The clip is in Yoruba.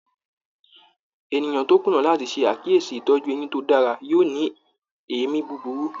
Ènìyàn tó kùnà láti ṣe àkíyèsí itọju eyín tó dára yóò ní èémí búburú.